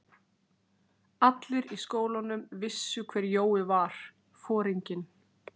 Allir í skólanum vissu hver Jói var, foringinn.